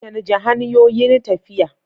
Canja hanyoyin tafiya.